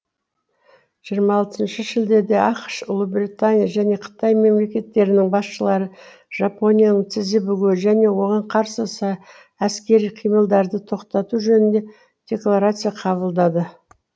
жиырма алтыншы шілдеде ақш ұлыбритания және қытай мемлекеттерінің басшылары жапонияның тізе бүгуі және оған қарсы әскери қимылдарды тоқтату жөнінде декларация қабылдады